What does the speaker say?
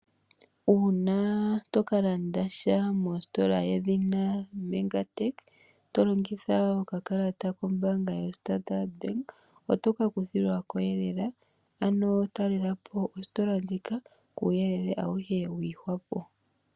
Uuna tokalanda sha mositola yedhina lyoMegatech tolongitha okakalata kombanga yoStandard otoka kuthilwako eelela ano talelapo ositola ndjika kuuyelele awuhe wagwedhwapo.